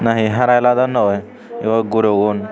na he hara hilodonnoi iyot guro gun.